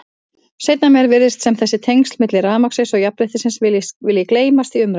Seinna meir virðist sem þessi tengsl milli rafmagnsins og jafnréttisins vilji gleymast í umræðunni.